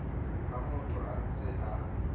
ha motho a ntse a